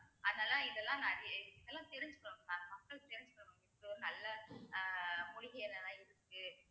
அதனால இதெல்லாம் நிறைய இதெல்லாம் தெரிஞ்சுக்கணும் mam மக்கள் தெரிஞ்சுக்கணும் இப்படி ஒரு நல்ல அஹ் மூலிகை என்னென்னெல்லாம் இருக்கு